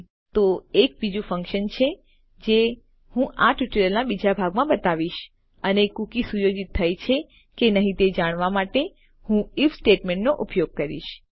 ઠીક છે તો એક બીજું ફન્કશન છે જે હું આ ટ્યુટોરીયલના બીજા ભાગમાં બતાવીશ અને કુકી સુયોજિત થઈ છે કે નહી તે જાણવા માટે હું આઇએફ સ્ટેટમેન્ટનો ઉપયોગ કરીશ